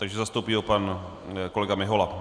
Takže zastoupí ho pan kolega Mihola.